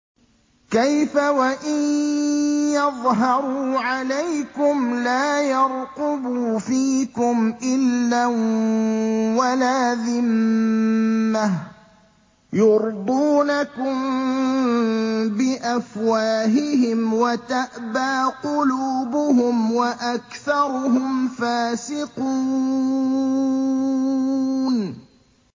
كَيْفَ وَإِن يَظْهَرُوا عَلَيْكُمْ لَا يَرْقُبُوا فِيكُمْ إِلًّا وَلَا ذِمَّةً ۚ يُرْضُونَكُم بِأَفْوَاهِهِمْ وَتَأْبَىٰ قُلُوبُهُمْ وَأَكْثَرُهُمْ فَاسِقُونَ